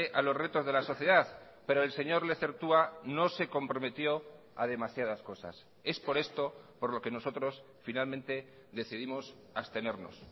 a los retos de la sociedad pero el señor lezertua no se comprometió a demasiadas cosas es por esto por lo que nosotros finalmente decidimos abstenernos